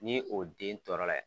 Ni o den tɔɔrɔ la